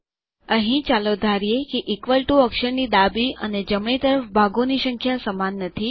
અહીં ચાલો ધારીએ કે ઇક્વલ ટીઓ અક્ષરની ડાબી અને જમણી તરફ ભાગોની સંખ્યા સમાન નથી